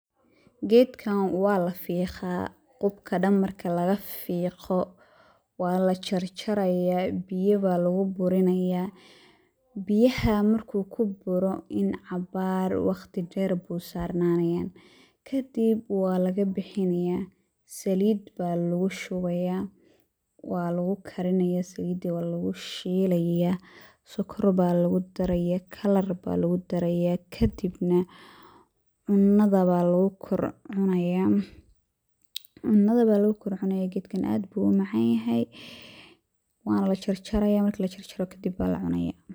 Geedkan waa la fiqaa, qubka dhan marka laga fiiqo, waa la jarjayaa, biya baa lagu burinayaa, biyaha markuu ku buro ,in cabaar waqti dher buu sarananayaa, kadib waa laga bixinayaa saliid baa lagu shubayaa waa lagu karinayaa saliida kadib waa lagu shilayaa sokor baa lagu darayaa, kalar baa lagu darayaa kadib na cunnada baa lagu kor cunaya ,cunnada baa lagu kor cunayaa geedkan aad buu u macaan yahay, waa la jarjarayaa marki la jarajo kadib baa la cunayaa.